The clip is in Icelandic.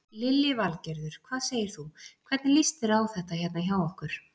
Lillý Valgerður: Hvað segir þú, hvernig líst þér á þetta hérna hjá okkur?